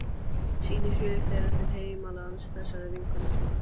Sýnir hug þeirra til heimalands þessarar vinkonu sinnar.